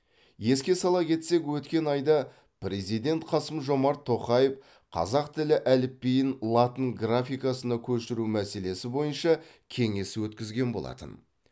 еске сала кетсек өткен айда президент қасым жомарт тоқаев қазақ тілі әліпбиін латын графикасына көшіру мәселесі бойынша кеңес өткізген болатын